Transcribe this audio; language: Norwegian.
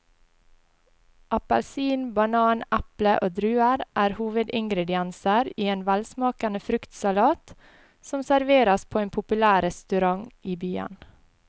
Appelsin, banan, eple og druer er hovedingredienser i en velsmakende fruktsalat som serveres på en populær restaurant i byen.